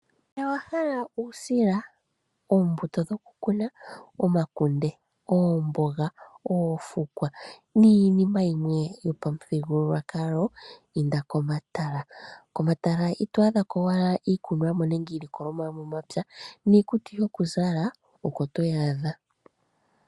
Ngele owahala uusila, oombuto dhokukuna, omakunde, oomboga, oofukwa niinima yimwe yo pamuthigululwakalo inda komatala. Komatala ito adha ko owala iikunwamo nenge iilokolomwa yomomapya niikutu yokuzala oko toyaadha.